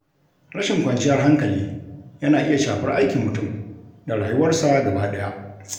Rashin kwanciyar hankali yana iya shafar aikin mutum da rayuwarsa gaba ɗaya.